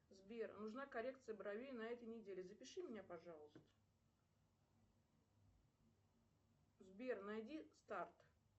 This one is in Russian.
сбер нужна коррекция бровей на этой неделе запиши меня пожалуйста сбер найди старт